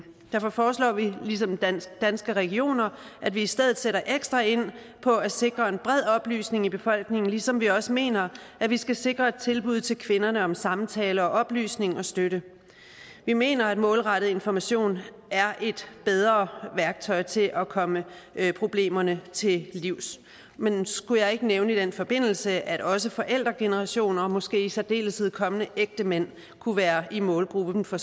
derfor foreslår vi ligesom danske danske regioner at vi i stedet sætter ekstra ind på at sikre en bred oplysning i befolkningen ligesom vi også mener at vi skal sikre et tilbud til kvinderne om samtale oplysning og støtte vi mener at målrettet information er et bedre værktøj til at komme problemerne til livs men skulle jeg ikke nævne i den forbindelse at også forældregeneration og måske i særdeleshed kommende ægtemænd kunne være i målgruppen for